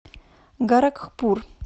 горакхпур